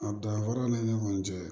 A danfaraw ni ɲɔgɔn cɛ